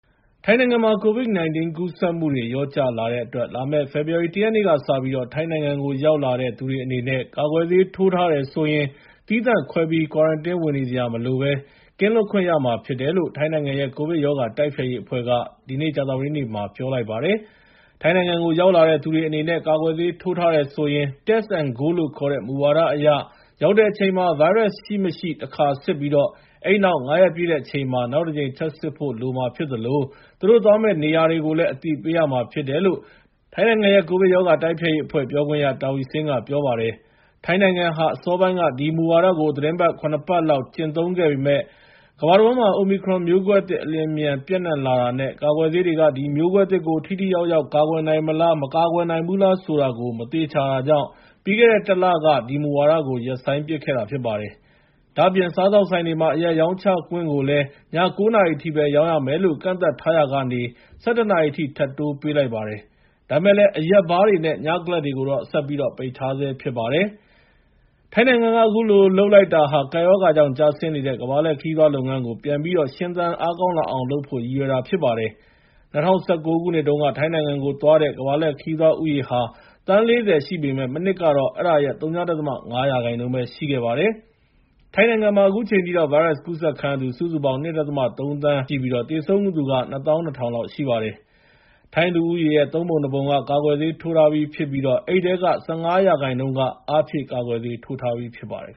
ထိုင်းနိုင်ငံမှာ COVID-19 ကူးစက်မှု လျော့ကျလာတဲ့အတွက် လာမယ့် ဖေဖော်ဝါရီ ၁ ရက်နေ့ကစပြီး ထိုင်းနိုင်ငံကို ရောက်လာတဲ့ သူတွေအနေနဲ့ ကာကွယ်ဆေးထိုးထားတယ်ဆိုရင် သီးသန့်ခွဲပြီး ကွာရန်တင်း ဝင်နေစရာမလိုဘဲ ကင်းလွတ်ခွင့်ရမှာ ဖြစ်တယ်လို့ ထိုင်းနိုင်ငံရဲ့ ကိုဗစ်ရောဂါတိုက်ဖျက်ရေးအဖွဲ့က ကြာသပတေးနေ့က ပြောလိုက်ပါတယ်။ ထိုင်းနိုင်ငံကို ရောက်လာသူတွေအနေနဲ့ ကာကွယ်ဆေးထိုးထားတယ်ဆိုရင် Test & Go လို့ခေါ်တဲ့ မူဝါဒအရ ရောက်တဲ့အချိန်မှာ ဗိုင်းရပ်စ်ရှိမရှိ တခါစစ်ပြီး အဲဒီနောက် ၅ ရက်ပြည့်တဲ့အချိန်မှာ နောက်တကြိမ်ထပ်စစ်ဖို့လိုမှာဖြစ်သလို သူတို့သွားမယ့်နေရာတွေ ကိုလည်း အသိပေးရမှာဖြစ်တယ်လို့ ထိုင်းနိုင်ငံရဲ့ကိုဗစ်ရောဂါတိုက်ဖျက်ရေးအဖွဲ့ ပြောခွင့်ရ Taweesin က ပြောပါတယ်။ ထိုင်းနိုင်ငံဟာ အစောပိုင်းက ဒီမူဝါဒကို သီတင်းပတ် ၇ ပတ်လောက် ကျင့်သုံးခဲ့ပေမယ့် ကမ္ဘာတဝန်းမှာ Omicron မျိုးကွဲသစ်အလျင်အမြန် ပျံ့န့ှံလာတာနဲ့ ကာကွယ်ဆေးတွေက ဒီမျိုးကွဲသစ်ကို ထိထိရောက်ရောက်ကာကွယ်နိုင်မလား မကာကွယ်နိုင်ဘူးလားဆိုတာကို မသေချာတာကြောင့် ပြီးခဲ့တဲ့ ၁ လက ဒီမူဝါဒကို ရပ်ဆိုင်းပစ်ခဲ့တာပါ။ ဒါ့အပြင် စားသောက်ဆိုင်တွေမှာ အရက်ရောင်းချင်ခွင့်ကိုလည်း ည ၉ နာရီထိပဲ ရောင်းရမယ်လို့ ကန့်သတ်ထားရာကနေ ၁၁ နာရီအထိ ထပ်တိုးပေးလိုက်ပါတယ်။ ဒါပေမဲ့လည်း အရက်ဘားတွေနဲ့ ညကလပ်တွေကိုတော့ ဆက်ပြီးတော့ ပိတ်ထားဆဲဖြစ်ပါတယ်။ ထိုင်းနိုင်ငံက အခုလိုလုပ်လိုက်တာဟာ ကပ်ရောဂါကြောင့် ကျဆင်းနေတဲ့ ကမ္ဘာလှည့်ခရီးသွားလုပ်ငန်းကို ပြန်ပြီးတော့ ရှင်သန်အားကောင်းလာအောင် လုပ်ဖို့ရည်ရွယ်တာဖြစ်ပါတယ်။ ၂၀၁၉ ခုနှစ်တုန်းက ထိုင်းနိုင်ငံကိုသွားတဲ့ ကမ္ဘာ့လှည့်ခရီးသွား ဦးရေဟာ သန်း ၄၀ ရှိပေမယ့် မနှစ်ကတော့ အဲဒါရဲ့ ဝ.၅% ပဲ ရှိခဲ့ပါတယ်။ ထိုင်းနိုင်ငံမှာ အခုချိန်ထိတော့ ဗိုင်းရပ်စ်ကူးစက်ခံရသူ စုစုပေါင်း ၂.၃ သန်းရှိပြီး သေဆုံးသူက ၂၂,၀၀၀ လောက်ရှိပါတယ်။ ထိုင်းလူဦးရေရဲ့ ၃ ပုံ ၂ ပုံက ကာကွယ်ဆေးထိုးထားပြီဖြစ်ပြီး အဲဒီထဲက ၁၅% အားဖြည့် ကာကွယ်ဆေး ထိုးထားပြီဖြစ်ပါတယ်